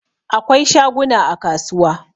Akwai shaguna a kasuwa